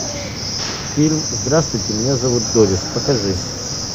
фильм здравствуйте меня зовут дорис покажи